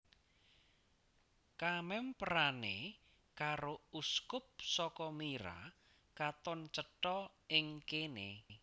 Kamèmperané karo uskup saka Myra katon cetha ing kéné